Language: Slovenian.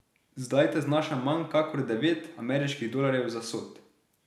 Zdaj ta znaša manj kakor devet ameriških dolarjev za sod.